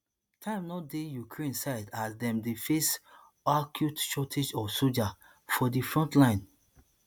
time no dey ukraine side as dem dey face acute shortage of soldiers for di frontline